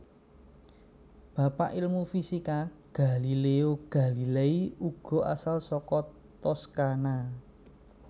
Bapak ilmu fisika Galileo Galilei uga asal saka Toscana